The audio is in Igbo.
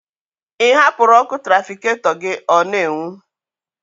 Ị hapụrụ ọkụ trafikatọ ugbọala gị ọ n'enwu?